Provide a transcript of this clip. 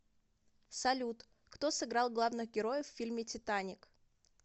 салют кто сыграл главных героев в фильме титаник